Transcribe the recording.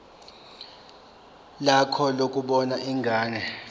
lakho lokubona ingane